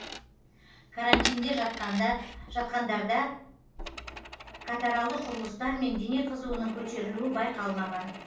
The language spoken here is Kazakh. карантинде жатқандарда катаралды құбылыстар мен дене қызуының көтерілуі байқалмаған